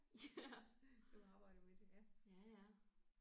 Ja. Ja ja